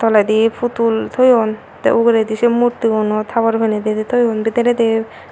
toledi putul toyon tey uguredi sei murtigunot habor piney didi toyon bidiredi.